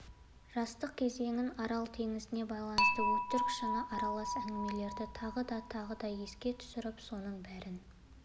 жастық кезеңін арал теңізіне байланысты өтірік-шыны аралас әңгімелерді тағы да тағы еске түсіріп соның бәрін